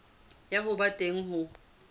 ya ho ba teng ho